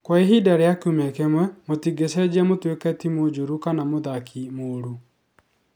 Kwa ihinda rĩa kiumia kĩmwe, mũtingĩcenjia mũtuĩke timu njũru kana mũthaki mũũru.